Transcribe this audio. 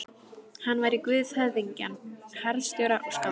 Hann væri guð höfðingja, harðstjóra og skálda.